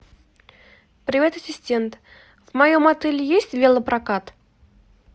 привет ассистент в моем отеле есть велопрокат